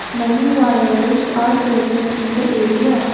many wires are present in the area.